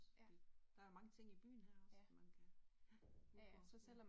Fordi der er mange ting i byen her også man kan udforske